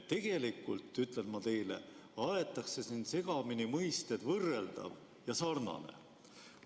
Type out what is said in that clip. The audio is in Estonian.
Tegelikult, ütlen ma teile, aetakse siin segamini mõisted "võrreldav" ja "sarnane".